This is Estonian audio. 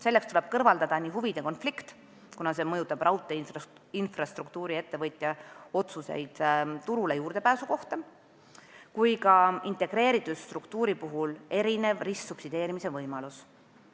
Selleks tuleb kõrvaldada nii huvide konflikt, kuna see mõjutab raudteeinfrastruktuuri-ettevõtja otsuseid turule juurdepääsu kohta, kui ka integreeritud struktuuri puhul erinev ristsubsideerimise võimalus.